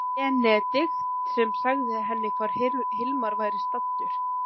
Benedikt sem sagði henni hvar Hilmar væri staddur.